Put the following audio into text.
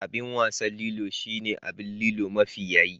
Abin wasan Lilo shine abin Lilo mafi yaye